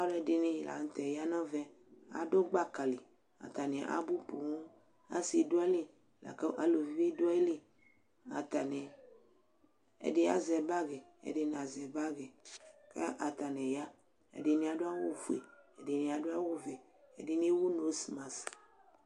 Alʋɛdɩnɩ la nʋ tɛ ya nʋ ɛvɛ, adʋ gbaka li Atanɩ abʋ poo, asɩ dʋ ayili la kʋ aluvi bɩ dʋ ayili Atanɩ, ɛdɩ azɛ bagɩ, ɛdɩ nazɛ bagɩ kʋ atanɩ ya Ɛdɩnɩ adʋ awʋfue, ɛdɩnɩ adʋ awʋvɛ, ɛdɩnɩ ewu nosmas